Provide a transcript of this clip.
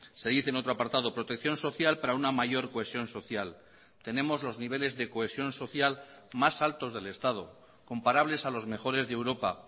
se dice en otro apartado protección social para una mayor cohesión social tenemos los niveles de cohesión social más altos del estado comparables a los mejores de europa